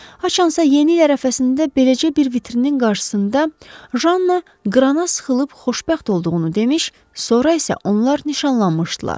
Haçansa yeni il ərəfəsində beləcə bir vitrinin qarşısında Janna qrana sıxılıb xoşbəxt olduğunu demiş, sonra isə onlar nişanlanmışdılar.